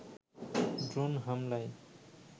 drone হামলায়